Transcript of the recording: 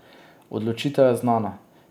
Odločitev je znana.